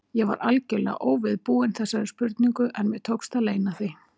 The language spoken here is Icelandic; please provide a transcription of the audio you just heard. Ég var algjörlega óviðbúin þessari spurningu, en mér tókst að leyna því.